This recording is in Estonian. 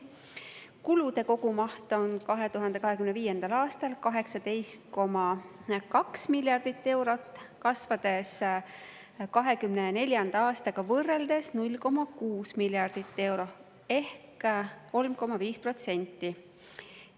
Kulude kogumaht 2025. aastal on 18,2 miljardit eurot, kasvades 2024. aastaga võrreldes 0,6 miljardit eurot ehk 3,5%.